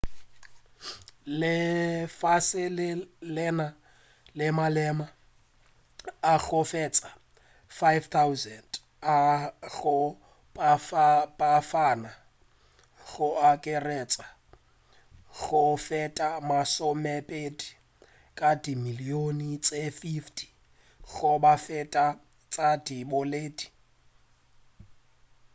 lefase le na le maleme a go feta 5,000 a go fapafapana go akaretša go feta masomepedi ka dimilion tše 50 goba go feta tša diboledi